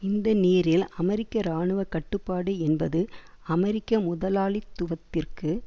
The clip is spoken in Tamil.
இந்த நீரில் அமெரிக்க இராணுவ கட்டுப்பாடு என்பது அமெரிக்க முதலாளித்துவத்திற்கு